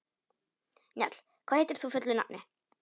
Njáll, hvað heitir þú fullu nafni?